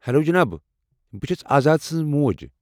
Hello جناب ، بہٕ چھس آزاد سٕنز موج۔